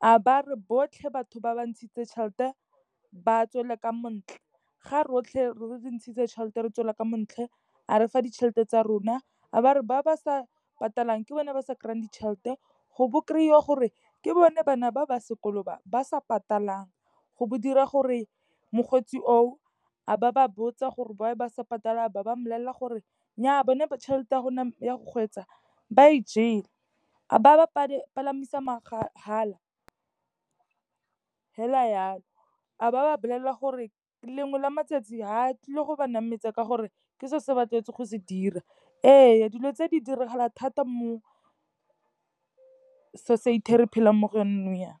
a ba a re botlhe batho ba ba ntshitseng tšhelete ba tswele ka mo ntle. Ga rotlhe re ntshitse tšhelete re tswela ka montle a re fa ditšhelete tsa rona. A ba re ba ba sa patalang ke bone ba sa kry-ang ditšhelete, go bo kry-iwa gore ke bone bana ba ba sekolo ba, ba sa patalang go dira gore mokgweetsi oo, a ba ba botsa gore why ba sa patala, ba mmolelela gore nnyaa bone ba tšhelete ya rona ya go kgweetsa ba e jele. A ba ba palamisa mahala hela yalo, a ba ba bolelela gore lengwe la matsatsi ha a tlile go ba nametsa ka gore ke seo se ba tlwaetseng go se dira. Ee, dilo tse di diragala thata mo society e re phelang mo go yona nou yaana.